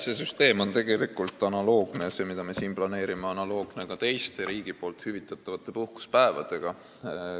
See süsteem on tegelikult analoogne – see, mida me siin planeerime – ka teiste riigi hüvitatavate puhkusepäevade süsteemiga.